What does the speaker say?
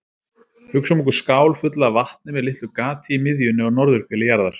Hugsum okkur skál fulla af vatni með litlu gati í miðjunni á norðurhveli jarðar.